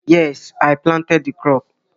Yes, I planted the crop